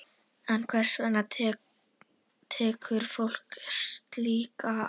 En hvers vegna tekur fólk slíka áhættu?